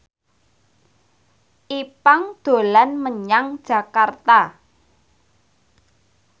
Ipank dolan menyang Jakarta